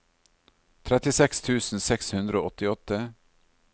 trettiseks tusen seks hundre og åttiåtte